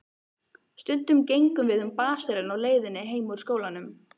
Stundum gengum við um basarinn á leiðinni heim úr skólanum.